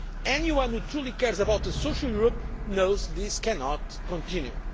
Anyone who truly cares about a social Europe knows this cannot continue.